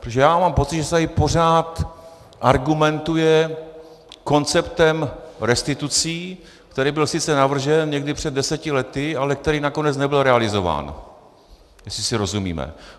Protože já mám pocit, že se tady pořád argumentuje konceptem restitucí, který byl sice navržen někdy před deseti lety, ale který nakonec nebyl realizován, jestli si rozumíme.